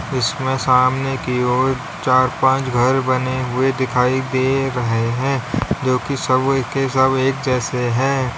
इसमें सामने की ओर चार पांच घर बने हुए दिखाई दे रहे हैं जो कि सब सब एक जैसे हैं।